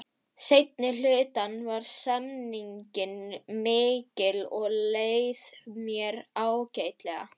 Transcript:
Seinni hlutann var stemningin mikil og leið mér ágætlega.